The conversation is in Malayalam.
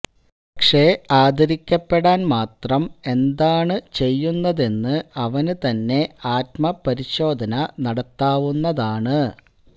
പക്ഷെ ആദരിക്കപ്പെടാന് മാത്രം എന്താണ് എന്താണ് ചെയ്യുന്നതെന്ന് അവന് തന്നെ ആത്മ പരിശോധന നടത്താവുന്നതാണ്